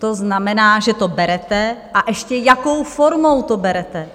To znamená, že to berete, a ještě jakou formou to berete!